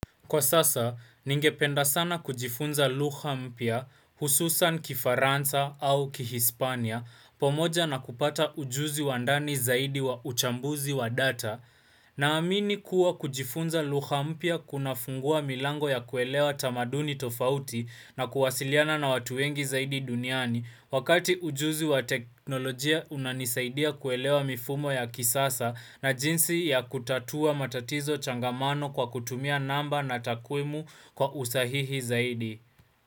Kwa sasa, ningependa sana kujifunza lugha mpya, hususan kifaransa au Kihispania, pamoja na kupata ujuzi wa ndani zaidi wa uchambuzi wa data. Naamini kuwa kujifunza lugha mpya kunafungua milango ya kuelewa tamaduni tofauti. Na kuwasiliana na watu wengi zaidi duniani, wakati ujuzi wa teknolojia unanisaidia kuelewa mifumo ya kisasa na jinsi ya kutatua matatizo changamano kwa kutumia namba na takwimu. Kwa usahihi zaidi.